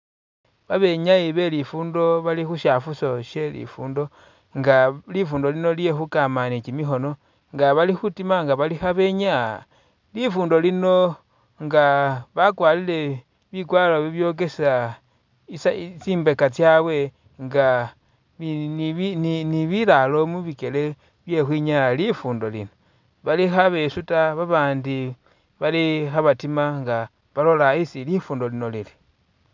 Babenyayi belifundo bali khushafuuso shelifundo nga lifundo lino lye khukama ni kimikhoono, nga bali khutima nga bali khabenyaya lifundo lino nga bakwalire bikwaro bibyokesa isayi tsimbeka tsabwe nga ni nibi ni bilalo mubikele byekhukhwinyaya lifundo lino. Bali khabesuuta babandi bali khabatima nga balola isi lifundo lino lili.